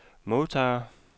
modtager